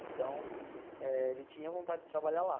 Então, eh ele tinha vontade de trabalhar lá.